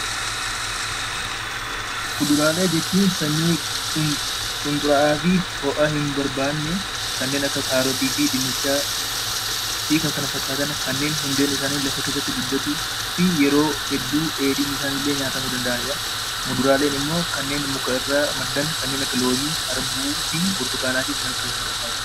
Kuduraalee jechuun sanyii qunxuraa fi ho'a hin barbaanne kanneen akka kaarotii fi dinnichaa fi kanneen kana fakkaatan hundeen isaanii lafa keessatti guddatu yeroo hedduu dheedhiin isaanii illee nyaatamuu danda'u. Muduraaleen immoo warreen muka isaanii nyaatamu kanneen akka loomii, harbuu , burtukaana fi kanneen kana fakkaatanidha.